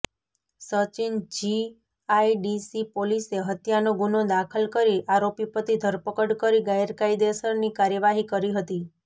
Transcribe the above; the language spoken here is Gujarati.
સચીન જીઆઈડીસી પોલીસે હત્યાનો ગુનો દાખલ કરી આરોપી પતિ ધરપકડ કરી કાયદેસરની કાર્યવાહી કરી હતી